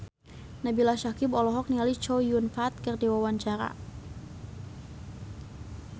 Nabila Syakieb olohok ningali Chow Yun Fat keur diwawancara